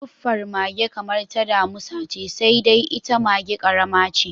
Suffar mage kamar ta damisa ce, sai dai ita maga ƙarama ce.